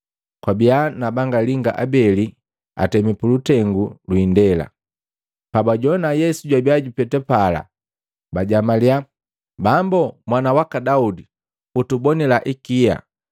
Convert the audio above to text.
Kwabia na banga linga abeli atemi pulutengu lwi indela, na pabajowana Yesu jwabia jupeta pala, bajamalia, “Bambu, Mwana waka Daudi utubonila ikia!”